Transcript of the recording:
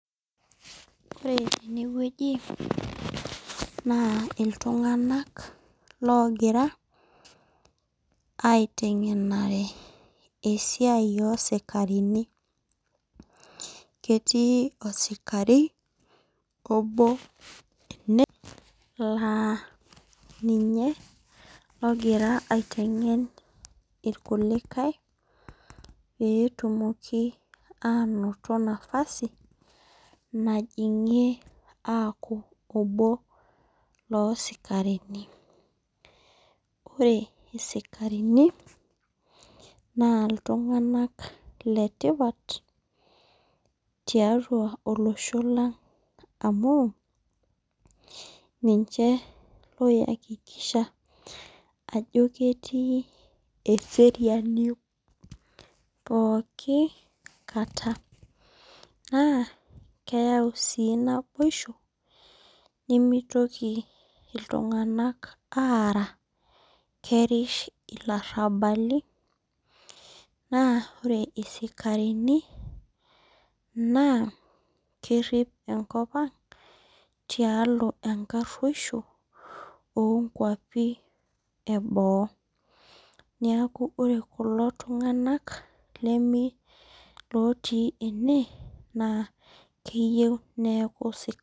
Ore enewueji na iltunganak ogira aitwngenare olesiai osikarini ketii osikari obo ene la ninye ogira aitwngen irkulikae peetumoki ainoto madasi najingie aaku obo losikarini ore sikarini na ltunganak letipat tiatua olosho lang amu ninche oiakikisha ano ketii eseriani pooki kata nakeyau si naboisho mitoki ltunganak aara na kerisha ilarabali ,na ore sikarini kerip enkop ang tialo enkaroisho onkeapi eboo neaku ore kulo tunganak otii ene na keyieu neaku sikarini.